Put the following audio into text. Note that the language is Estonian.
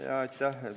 Aitäh!